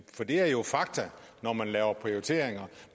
for det er jo fakta når man laver prioriteringer